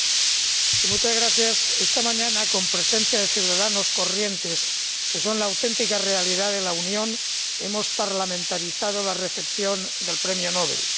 Señor Presidente, esta mañana, en presencia de ciudadanos corrientes, que son la auténtica realidad de la Unión, hemos parlamentarizado la recepción del Premio Nobel.